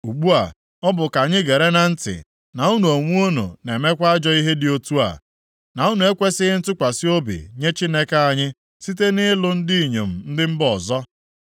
Ugbu a, ọ bụ ka anyị gere na ntị na unu onwe unu na-emekwa ajọ ihe dị otu a, na unu ekwesighị ntụkwasị obi nye Chineke anyị, site nʼịlụ ndị inyom ndị mba ọzọ?”